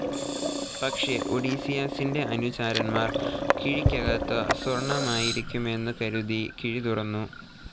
പക്ഷെ ഒഡീസിയസ്സിൻ്റെ അനുചരന്മാർ കിഴിക്കകകത്തു സ്വർണ്ണമായിരിക്കുമെന്നു കരുതി, കിഴി തുറന്നു.